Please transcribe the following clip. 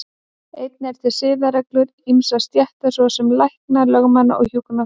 Einnig eru til siðareglur ýmissa stétta, svo sem lækna, lögmanna og hjúkrunarfræðinga.